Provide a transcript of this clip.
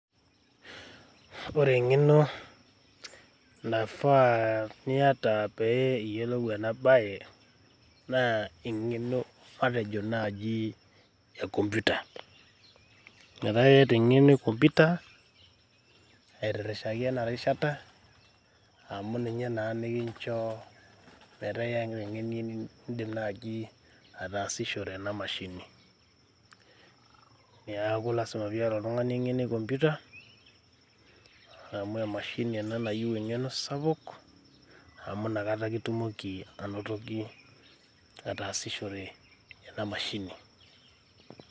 Ore eng`eno naifaa niyata pee iyiolou ena baye na eng`eno matejo naaji e computer. Metaa iyata eng`eno e computer aitirishaki ena rishata amu ninye naa nikinchoo metaa eng`eno nidim naaji ataasishore ena mashini. Niaku lazima pee iyata oltung`ani eng`eno e computer amu emashini ena nayieu eng`eno sapuk amu inakata ake itumoki anotoki ataasishore ena mashini.